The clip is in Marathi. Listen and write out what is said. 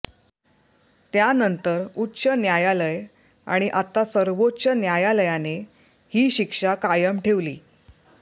त्यानंतर उच्च न्यायालय आणि आता सर्वोच्च न्यायालयाने ही शिक्षा कायम ठेवली